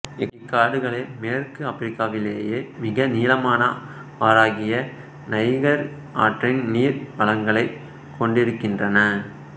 இக்காடுகளே மேற்கு ஆபிரிக்காவிலேயே மிக நீளமான ஆறாகிய நைகர் ஆற்றின் நீர் வளங்களைக் கொண்டிருக்கின்றன